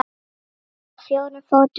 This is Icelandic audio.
Kettir á fjórum fótum ganga.